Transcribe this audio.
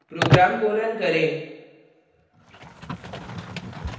program को run करें